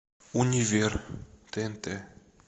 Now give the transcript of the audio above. универ тнт